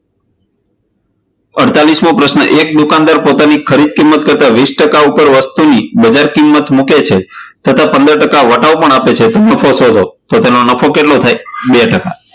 અડતાલીસ મો પ્રશ્ન એક દુકાનદાર પોતાની ખરીદ કિંમત કરતાં વીશ ટકા ઉપર વસ્તુની વધાર કિંમત મૂકે છે, તથા પંદર ટકા વટાવ પણ આપે છે, તો નફો શોધો. તો તેનો નફો કેટલો થાય? બે ટકા.